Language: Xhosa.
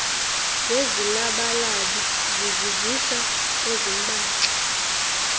ngezilabalabi zizivisa ezimbaxa